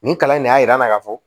Nin kalan in ne y'a yira n na k'a fɔ